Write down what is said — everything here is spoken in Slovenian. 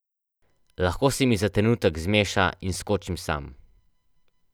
Lahko se mi za trenutek zmeša in skočim sam.